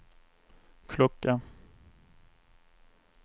klocka